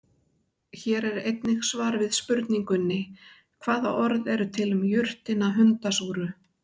Hér er einnig svar við spurningunni: Hvaða orð eru til um jurtina hundasúru?